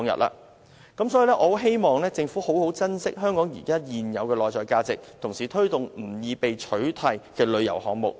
我很希望政府好好珍惜香港現有的內在價值，同時推動不易被取替的旅遊項目。